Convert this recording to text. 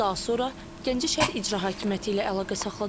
Daha sonra Gəncə şəhər İcra Hakimiyyəti ilə əlaqə saxladıq.